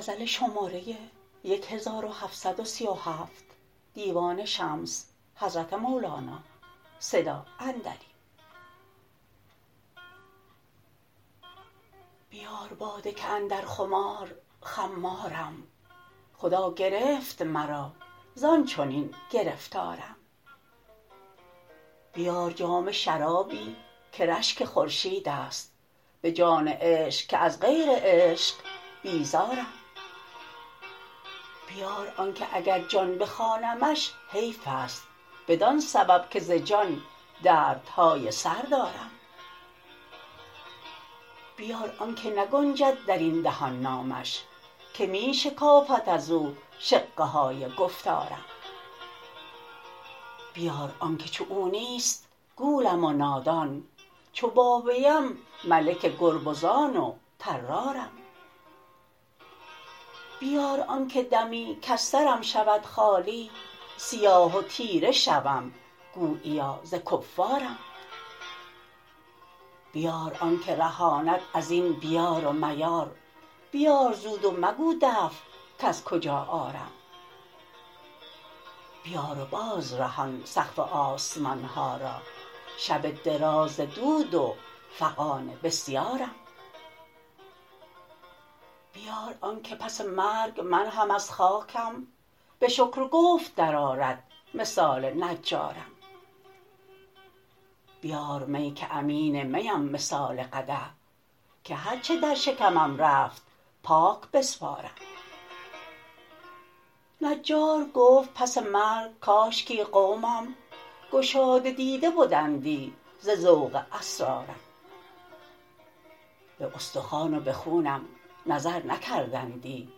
بیار باده که اندر خمار خمارم خدا گرفت مرا زان چنین گرفتارم بیار جام شرابی که رشک خورشید است به جان عشق که از غیر عشق بیزارم بیار آنک اگر جان بخوانمش حیف است بدان سبب که ز جان دردهای سر دارم بیار آنک نگنجد در این دهان نامش که می شکافد از او شقه های گفتارم بیار آنک چو او نیست گولم و نادان چو با ویم ملک گربزان و طرارم بیار آنک دمی کز سرم شود خالی سیاه و تیره شوم گوییا ز کفارم بیار آنک رهاند از این بیار و میار بیار زود و مگو دفع کز کجا آرم بیار و بازرهان سقف آسمان ها را شب دراز ز دود و فغان بسیارم بیار آنک پس مرگ من هم از خاکم به شکر و گفت درآرد مثال نجارم بیار می که امین میم مثال قدح که هر چه در شکمم رفت پاک بسپارم نجار گفت پس مرگ کاشکی قومم گشاده دیده بدندی ز ذوق اسرارم به استخوان و به خونم نظر نکردندی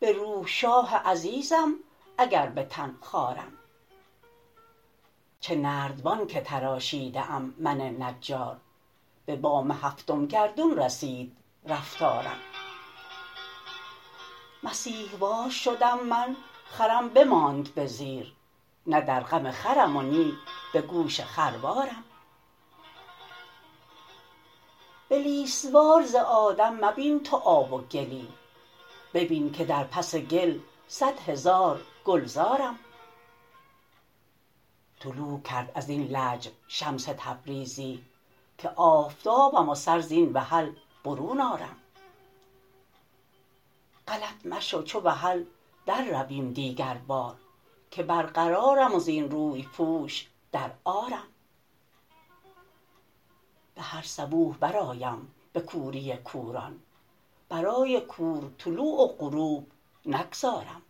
به روح شاه عزیزم اگر به تن خوارم چه نردبان که تراشیده ام من نجار به بام هفتم گردون رسید رفتارم مسیح وار شدم من خرم بماند به زیر نه در غم خرم و نی به گوش خروارم بلیس وار ز آدم مبین تو آب و گلی ببین که در پس گل صد هزار گلزارم طلوع کرد از این لحم شمس تبریزی که آفتابم و سر زین وحل برون آرم غلط مشو چو وحل در رویم دیگربار که برقرارم و زین روی پوش در عارم به هر صبوح درآیم به کوری کوران برای کور طلوع و غروب نگذارم